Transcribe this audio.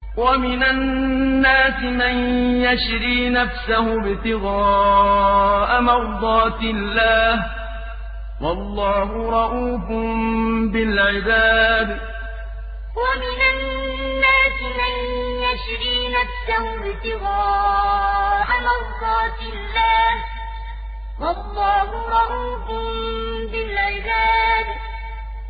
وَمِنَ النَّاسِ مَن يَشْرِي نَفْسَهُ ابْتِغَاءَ مَرْضَاتِ اللَّهِ ۗ وَاللَّهُ رَءُوفٌ بِالْعِبَادِ وَمِنَ النَّاسِ مَن يَشْرِي نَفْسَهُ ابْتِغَاءَ مَرْضَاتِ اللَّهِ ۗ وَاللَّهُ رَءُوفٌ بِالْعِبَادِ